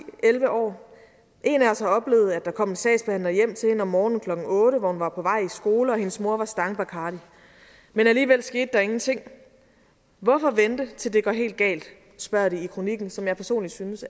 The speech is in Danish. elleve år en af os har oplevet at der kom en sagsbehandler hjem til hende om morgenen klokken otte hvor hun var på vej i skole og hendes mor og stangbarcardi men alligevel skete der ingenting hvorfor vente til det går helt galt det spørger de i kronikken som jeg personlig synes